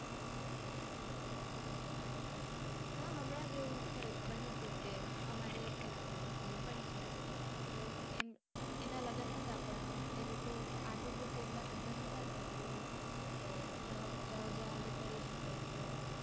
હા હમણાં જ એવું બન્યું હતું કે અમારે એક બેનપણી છે તો એનાં લગ્ન હતા પણ એ લોકો આર્થિક રીતે એટલાં સધધર કે બૌ જાહોજલાલી કરી શકે તો